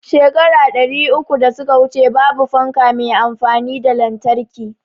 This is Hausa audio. Shekara ɗari uku da suka wuce babu fanka me amfani da lantarki